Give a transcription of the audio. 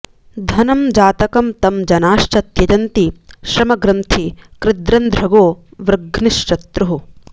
धनं जातकं तं जनाश्च त्यजंति श्रमग्रन्थि कृद्रंध्रगो व्रघ्नशत्रुः